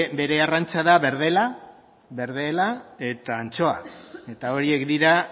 bere arrantza da berdela eta antxoa eta horiek dira